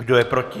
Kdo je proti?